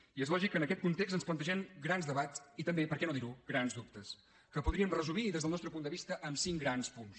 i és lògic que en aquest context ens plantegem grans debats i també per què no dir ho grans dubtes que podríem resumir des del nostre punt de vista en cinc grans punts